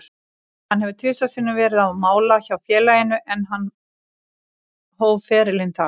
Hann hefur tvisvar sinnum verið á mála hjá félaginu, en hann hóf ferilinn þar.